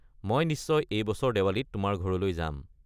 মই নিশ্চয় এই বছৰ দেৱালীত তোমাৰ ঘৰলৈ যাম।